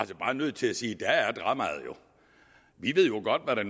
bare nødt til at sige der er dramaet jo vi ved jo godt hvad det